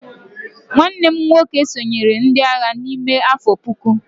nwanne m nwoke sonyeere ndi agha n'ime afo puku